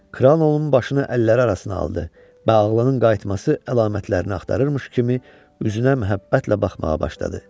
Kral onun başını əlləri arasına aldı və ağlının qayıtması əlamətlərini axtarırmış kimi üzünə məhəbbətlə baxmağa başladı.